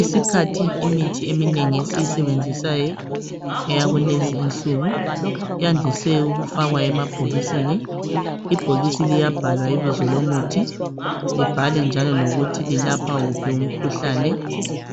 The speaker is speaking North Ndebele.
Isikhathi esinengi imithi esiyisebenzisayo, yakulezinsuku, yandise ukufakwa emabhokisini, ibhokisi liyabhalwa ibizo lomuthi libhalwe njalo lokuthi lilapha wuphi umkhuhlane